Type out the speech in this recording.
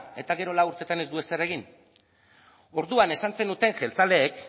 eta gero lau urtetan ez du ezer egin orduan esan zenuten jeltzaleek